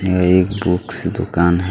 यह एक बुक्स की दुकान है।